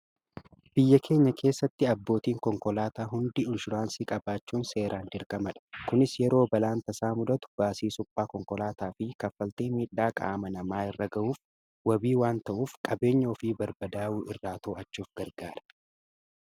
Biyya keenya keessatti abbootiin konkolaataa hundi inshuraansii qabaachuun faayidaa madaalamuu hin dandeenye fi bakka bu’iinsa hin qabne qaba. Jireenya guyyaa guyyaa keessatti ta’ee, karoora yeroo dheeraa milkeessuu keessatti gahee olaanaa taphata. Faayidaan isaa kallattii tokko qofaan osoo hin taane, karaalee garaa garaatiin ibsamuu danda'a.